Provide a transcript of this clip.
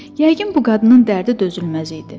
Yəqin bu qadının dərdi dözülməz idi.